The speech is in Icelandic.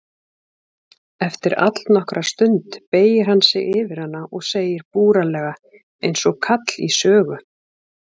Eftir allnokkra stund beygir hann sig yfir hana og segir búralega einsog kall í sögu